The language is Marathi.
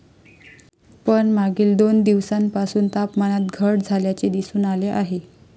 पण मागील दोन दिवसांपासून तापमानात घट झाल्याचे दिसून आले आहे.